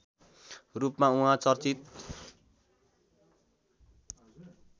रूपमा उहाँ चर्चित